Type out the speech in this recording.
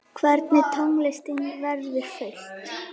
Hvernig tónlist verður flutt?